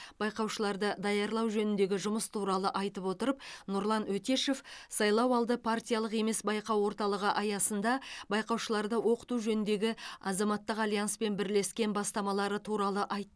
байқаушыларды даярлау жөніндегі жұмыс туралы айта отырып нұрлан өтешев сайлауды партиялық емес байқау орталығы аясында байқаушыларды оқыту жөніндегі азаматтық альянспен бірлескен бастамалары туралы айтты